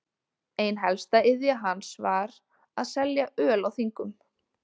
Ein helsta iðja hans var að selja öl á þingum.